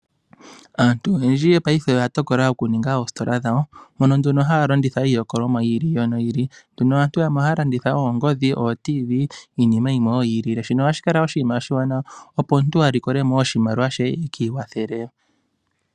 Aantu oyendji paife oya tokola okuninga oositola dhawo mono nduno haya landitha iilikolomwa yi ili noyi ili, nduno aantu yamwe ohaya landitha oongodhi, oo radio dhomi zizimbe niinima yimwe wo yi ilile. Shino ohashi kala oshinima oshiwanawa opo omuntu a likole mo oshimaliwa she e ki ikwathele.